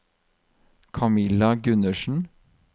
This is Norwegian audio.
Kamilla Gundersen